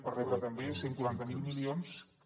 per rebre també cent i quaranta miler milions que